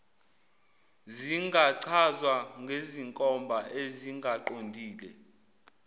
zingachazwa ngezinkomba ezingaqondile